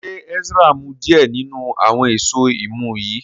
ṣe Ezra mu diẹ ninu awọn Èṣó imú yí?